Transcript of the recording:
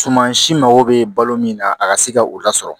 Suman si mago bɛ balo min na a ka se ka u lasɔrɔ